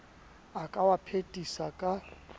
a ka wa phethisa ka